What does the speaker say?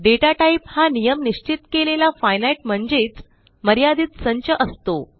दाता type हा नियम निश्चित केलेला फिनाइट म्हणजेच मर्यादित संच असतो